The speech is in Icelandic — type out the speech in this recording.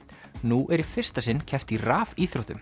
nú er í fyrsta sinn keppt í